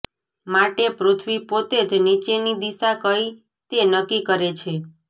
માટે પૃથ્વી પોતે જ નીચેની દિશા કઈ તે નક્કી કરે છે